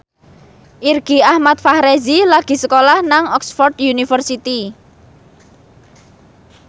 Irgi Ahmad Fahrezi lagi sekolah nang Oxford university